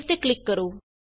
save ਤੇ click ਕਰੋ